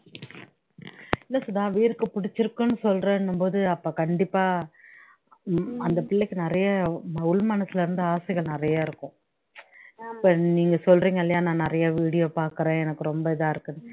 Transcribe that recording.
இல்ல சுதா வீர்க்கு புடிச்சுருக்குன்னு சொல்றேன்னும்போது அப்போ கண்டிப்பா அந்த பிள்ளைக்கு நிறைய உள் மனசுல இருந்து ஆசைகள் நிறைய இருக்கும் இப்ப நீங்க சொல்றிங்க இல்லையா நான் நிறைய video பாக்குறேன் எனக்கு ரொம்ப இதா இருக்குன்னு